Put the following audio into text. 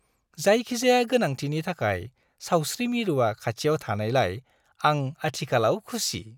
जायखिजाया गोनांथिनि थाखाय सावस्रि मिरुआ खाथियाव थानायलाय आं आथिखालाव खुसि।